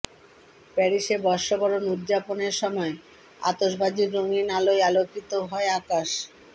প্যারিসে বর্ষবরণ উদযাপনের সময় আতশবাজির রঙিন আলোয় আলোকিত হয় আকাশ